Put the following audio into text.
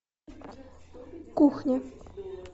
кухня